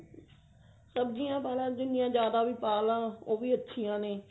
ਸਬਜੀਆਂ ਪਾਲਾ ਜਿੰਨੀਆਂ ਜਿਆਦਾ ਵੀ ਪਾਲਾ ਉਹ ਵੀ ਅੱਛੀਆਂ ਨੇ